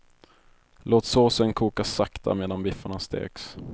Låt såsen koka sakta medan biffarna steks.